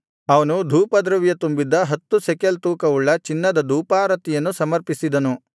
ಅವನು ಧೂಪದ್ರವ್ಯ ತುಂಬಿದ್ದ ಹತ್ತು ಶೆಕೆಲ್ ತೂಕವುಳ್ಳ ಚಿನ್ನದ ಧೂಪಾರತಿ ಸಮರ್ಪಿಸಿದನು